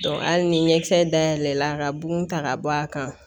hali ni ɲɛkisɛ dayɛlɛ la ka bugun ta ka bɔ a kan